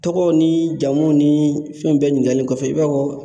Tɔgɔw ni jamuw ni fɛn bɛɛ ɲiniŋali kɔfɛ i b'a fɔ